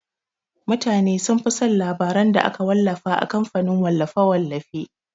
Mutane sunfi son labaran da aka wallafa a kamfanin wallafe-wallafe.